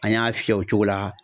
An y'a fiyɛ o cogo la.